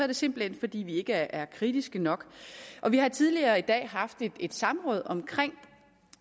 det simpelt hen fordi vi ikke er kritiske nok vi har tidligere i dag haft et samråd om